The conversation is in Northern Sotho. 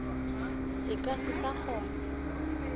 se ka se sa kgona